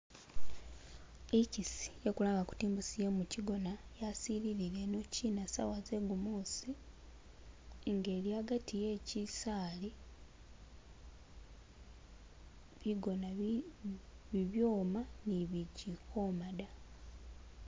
Ichisi yesi kulanga kuti imbusi ye muchigona yasililile inochina sawa zegumusi inga ili hagati he chisaali bigona bibyoma ni bichili kwoma da.